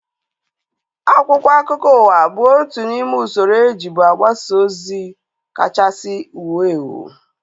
Akwụkwọ akụkọ ụwa bụ otu n'ime usoro ejibu agbasa ozi kachasị wuo ewu